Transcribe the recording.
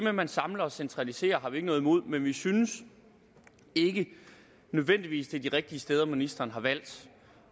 at man samler og centraliserer har vi ikke noget imod men vi synes ikke nødvendigvis det er de rigtige steder ministeren har valgt